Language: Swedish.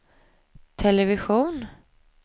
television